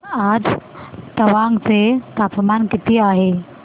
आज तवांग चे तापमान किती आहे